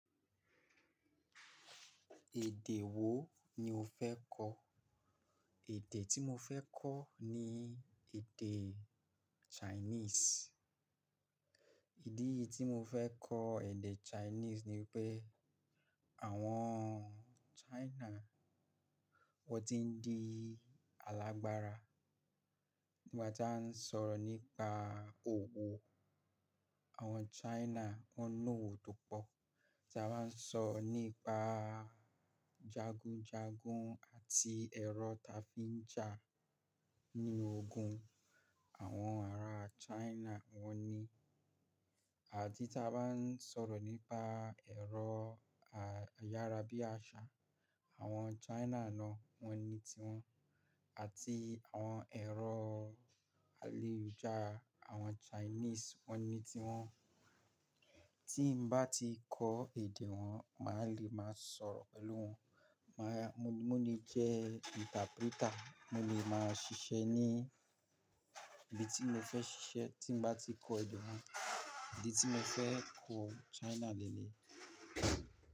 Èdè wo ni o fẹ́ kọ̀? Èdè tí mo fẹ́ kọ̀ ni èdè Chinese. Ìdí tí mo fẹ́ kọ èdè Chinese ni pé àwọn China wọ́n ti ń di alágbára. Nígbà tá a ń sọ̀rọ̀ nípa òwò àwọn China wọn lòwò to pọ̀. Tí a bá ń sọ̀rọ̀ nípa jagunjagun àti ẹ̀rọ ta fi ń jà nínú ogun àwọn ará China wọ́n ní. Àdí tí a bá ń sọ̀rọ̀ nípa ẹ̀rọ ayárabíàṣá àwọn China náà wọ́n ní ti wọn àti àwọn ẹ̀rọ àyelujaara àwọn Chinese wọ́n ní ti wọn. Tí mo bá ti kọ́ èdè wọn, màá le máa sọ̀rọ̀ pẹ̀lú wọn. Má a-- mo lè jẹ́ interpreter, mo lè máa ṣiṣẹ́ ní ibi tí mo fẹ́ ṣiṣẹ́ tí n bá ti kọ́ èdè wọn. Idi tí mo fẹ́ kọ China le le yi.